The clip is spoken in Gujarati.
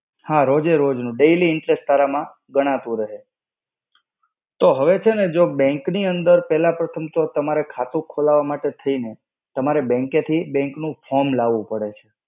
હા રોજે-રોજ નું. Daily interest તારા માં ગણાતું રહે. તો હવે છે ને bank ની અંદર પેલા તો તમારે ખાતું ખોલાવા માટે થઈ ને, તમારે bank થી bank નું form લાવવું પડે.